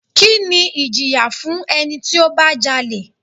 Kini ìjìyà fún ẹni tí ó bá jalè?